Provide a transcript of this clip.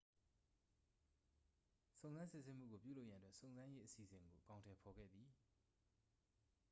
စုံစမ်းစစ်ဆေးမှုကို ပြုလုပ်ရန်အတွက် စုံစမ်းရေးအစီအစဉ်ကို အကောင်အထည်ဖော်ခဲ့သည်